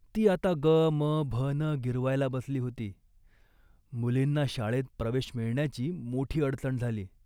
ती आता 'गमभन' गिरवायला बसली होती. मुलींना शाळेत प्रवेश मिळण्याची मोठी अडचण झाली